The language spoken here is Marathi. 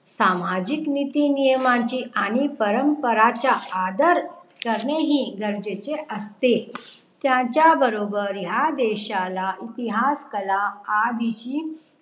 सामाजीक नीतिनियमांची आणि परंपरांच्या आदर करणेही गरजेचे असते त्याचा बरोबर या देशाला इतिहास कला आदि ही